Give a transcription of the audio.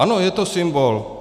Ano, je to symbol.